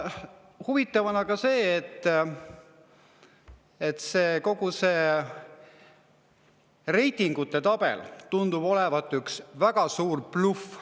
Huvitav on see, et kogu see reitingute tabel tundub olevat üks väga suur bluff.